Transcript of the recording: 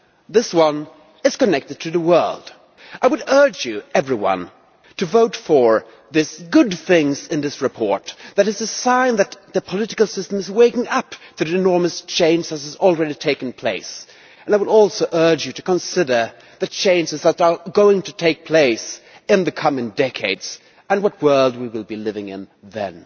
This one is connected to the world. I would urge you, everyone, to vote for the good things in this report. They are a sign that the political system is waking up to the enormous change that has already taken place, and I would also urge you to consider the changes that are going to take place in the coming decades and the world we will be living in then.